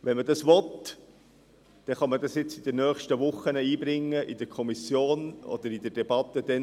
Wenn man dies will, kann man dies in den nächsten Wochen in die Kommission einbringen oder später in die Debatte über